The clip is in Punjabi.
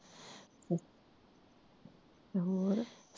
ਤੇ ਹੋਰ